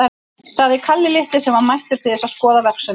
sagði Kalli litli, sem var mættur til þess að skoða verksummerki.